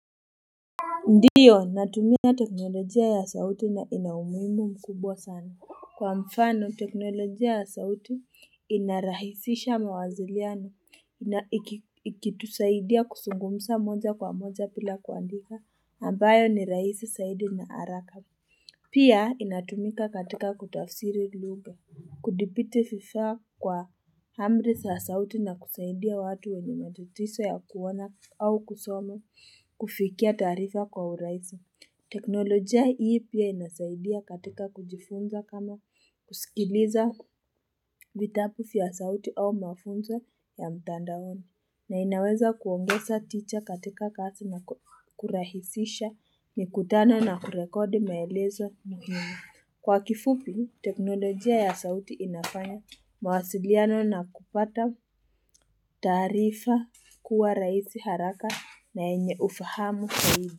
Ndio natumia teknolojia ya sauti na ina umuhimu mkubwa sana kwa mfano teknolojia ya sauti inarahisisha mawaziliano ikitusaidia kusungumsa moja kwa moja pila kuandika ambayo ni raisi saidi na haraka pia inatumika katika kutafsiri luga Kudipiti fifaa kwa hamri saa sauti na kusaidia watu wenye matutiso ya kuona au kusoma kufikia taarifa kwa uraisa. Teknolojia hii pia inasaidia katika kujifunza kama kusikiliza vitapu fya sauti au mafunzo ya mtandaoni. Na inaweza kuongeza ticha katika kasi na kurahisisha mikutano na kurekodi maelezo muhimu. Kwa kifupi, teknolojia ya sauti inafanya mawasiliano na kupata taarifa kuwa raisi haraka na enye ufahamu zaidi.